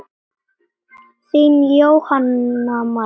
Þín Jóhanna María.